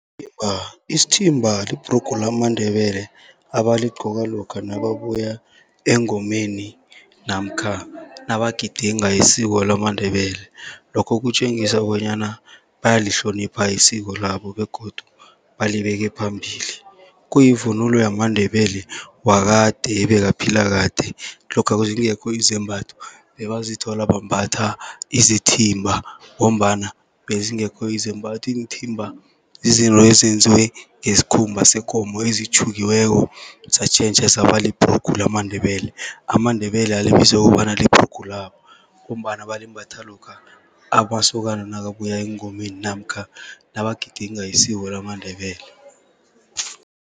isithimba libhrugu lamaNdebele, abaligcoka lokha nababuya engomeni namkha nabagidinga isiko lamaNdebele. Lokho kutjengisa bonyana bayalihlonipha isiko labo begodu balibeke phambili. Kuyivunulo yamaNdebele wakade ebekaphila kade, lokha zingekho izembatho bebazithola bambatha isithimba, ngombana bezingekho izembatho. Iinthimba yizinto ezenziwe ngesikhumba sekomo ezitjhukiweko, satjhentjha saba libhrugu lamaNdebele. AmaNdebele alibize kobana libhrugu labo, ngombana balimbatha lokha amasokana nakabuya engomeni namkha nabagidinga isiko lamaNdebele.